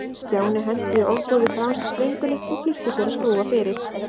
Stjáni henti í ofboði frá sér slöngunni og flýtti sér að skrúfa fyrir.